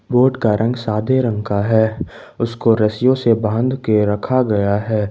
Boat का रंग सादे रंग का है उसको रस्सियों से बांध के रखा गया है।